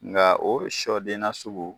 Nka o siyɔden na sugu.